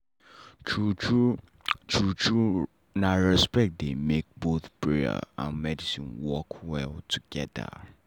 true true true true na respect dey make both prayer and medicine work well together.